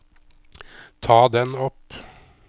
ta den opp